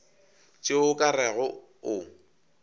tšeo o ka rego o